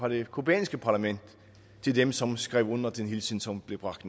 det cubanske parlament til dem som skrev under på den hilsen som blev bragt